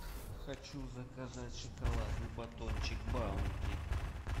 хочу заказать шоколадный батончик баунти